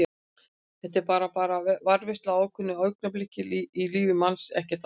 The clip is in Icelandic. Þetta er bara. bara varðveisla á ákveðnu augnabliki í lífi manns, ekkert annað.